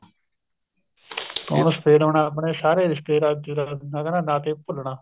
ਖੂਨ ਸ਼ਫ਼ੇਦ ਹੋਣਾ ਮਤਲਬ ਸਾਰੇ ਰਿਸ਼ਤੇ ਨਾਤੇ ਮਤਲਬ ਭੁੱਲਣਾ